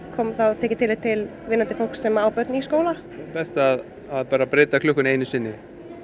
tekið tillit til vinnandi fólks sem á börn í skóla best að breyta klukkunni bara einu sinni